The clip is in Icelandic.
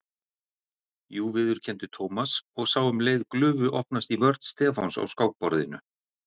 Jú viðurkenndi Thomas og sá um leið glufu opnast í vörn Stefáns á skákborðinu.